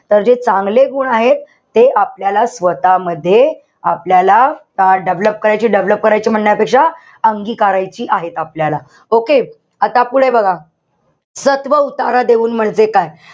तर जे चांगले गुण आहेत. ते आपल्याला स्वतःमध्ये आपल्याला develop करायचे. Develop करायचे म्हणण्यापेक्षा अंगिकारायची आहेत आपल्याला. Okay? आता पुढे बघा. सत्व उतारा देऊन म्हणजे काय?